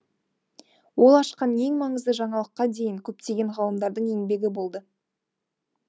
ол ашқан ең маңызды жаңалыққа дейін көптеген ғалымдардың еңбегі болды